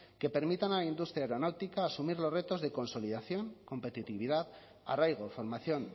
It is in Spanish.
que permitan a la industria aeronáutica asumir los retos de consolidación competitividad arraigo formación